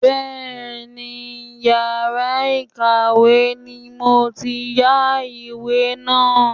Bẹ́ẹ̀ni, yàrá ìkàwé ni mo ti yá ìwé náà.